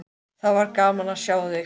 Það var gaman að sjá þig.